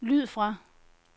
lyd fra